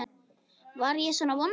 Var ég svona vondur?